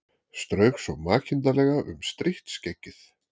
Strauk svo makindalega um strítt skeggið.